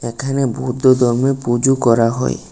এখানে বুদ্ধ ধর্মে পুজো করা হয়।